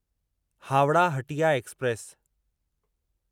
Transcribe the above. Howrah Hatia express